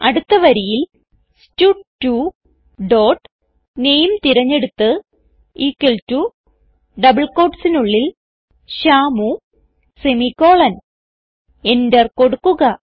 അടുത്ത വരിയിൽ സ്റ്റഡ്2 ഡോട്ട് നാമെ തിരഞ്ഞെടുത്ത് ഇക്വൽ ടോ ഡബിൾ quotesനുള്ളിൽ ശ്യാമു സെമിക്കോളൻ enter കൊടുക്കുക